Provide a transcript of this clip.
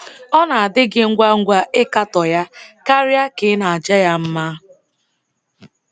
Ọ na-adị gị ngwa ngwa ịkatọ ya karịa ka ị na-aja ya mma?